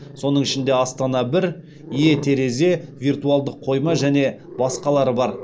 соның ішінде астана бір е терезе виртуалдық қойма және басқалары бар